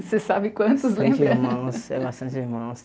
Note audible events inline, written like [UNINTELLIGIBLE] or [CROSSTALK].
Você sabe quantos, lembra? [LAUGHS] [UNINTELLIGIBLE] irmãos é bastante irmãos